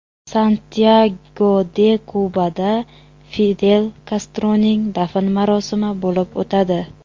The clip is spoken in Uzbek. Santyago-de-Kubada Fidel Kastroning dafn marosimi bo‘lib o‘tadi.